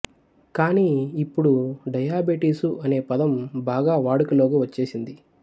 కానీ ఇప్పుడు డయాబెటీసు అనే పదం బాగా వాడుకలోకి వచ్చేశింది